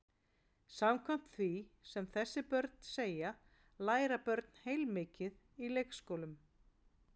Samkvæmt því sem þessi börn segja læra börn heilmikið í leikskólum.